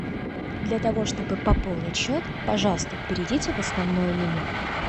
для того чтобы пополнить счет пожалуйста перейдите в основное меню